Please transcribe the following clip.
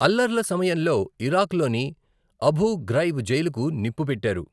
అల్లర్ల సమయంలో ఇరాక్లోని Abu Ghraib జైలుకు నిప్పు పెట్టారు.